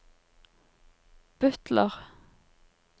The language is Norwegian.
butler